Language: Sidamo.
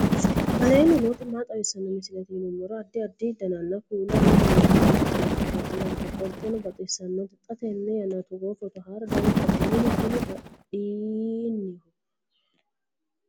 aleenni nooti maa xawisanno misileeti yinummoro addi addi dananna kuula woy biinfille amaddino footooti yaate qoltenno baxissannote xa tenne yannanni togoo footo haara danchate minu kuni baadiyyenniho